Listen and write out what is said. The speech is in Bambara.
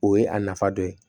O ye a nafa dɔ ye